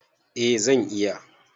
Eh zan iya